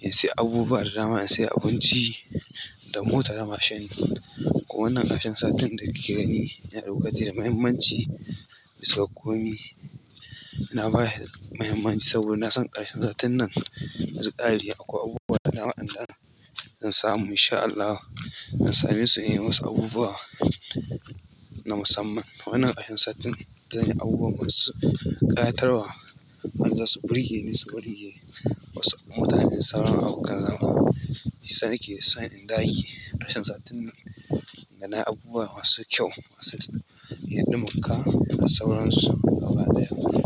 in sayi abubuwa da dama, in sayi abinci da mota da mashin. Kuma wannan ƙarshen satin da kuke gani yana matukar muhimmanci, bisa ga komai. Na bashi muhimmanci saboda ina son ƙarshen satin nan in ya kare akwai abubuwa da dama waɗanda zan samu in sha Allah. Zan same su yi wasu abubuwa na musamman. Wannan ƙarshen satin zan yi abubuwa masu ƙayatarwa, wanda za su burge ni, su burge wasu mutane, sauraron abokan zamana. Shiyasa nake, son in dage. Ƙarshen satin nan yana abubuwa masu kyau, sati yin dunkinka da sauransu, abin da yasa.